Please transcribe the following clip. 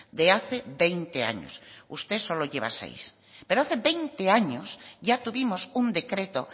de hace veinte años usted solo lleva seis pero hace veinte años ya tuvimos un decreto